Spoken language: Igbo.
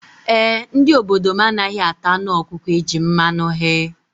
E, ndị obodo m anaghị ata anụ ọkụkọ e ji mmanụ ghee.